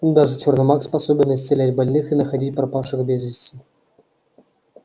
но даже черно маг способен исцелять больных и находить пропавших без вести